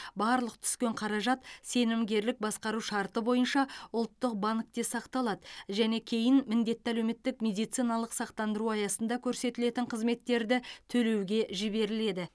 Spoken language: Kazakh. барлық түскен қаражат сенімгерлік басқару шарты бойынша ұлттық банкте сақталады және кейін міндетті әлеуметтік медициналық сақтандыру аясында көрсетілетін қызметтерді төлеуге жіберіледі